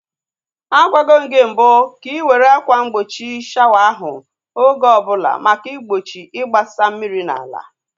Agwago m gị mbụ ka ị were akwa mgbochi shawa ahụ oge ọbụla maka igbochi igbasa mmiri n'ala.